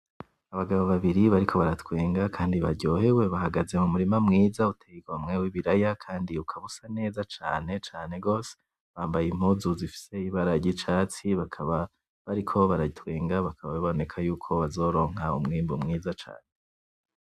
Abagabo babiri bariko baratwenga kandi baryohewe bahagaze m'umurima mwiza utey'igomwe w'ibiraya kandi ukaba usa neza cane, cane gose, bambaye impuzu zifise ibara ry'icatsi bakaba bariko baratwenga bakaba baboneka yuko bazoronka umwimbu mwiza cane.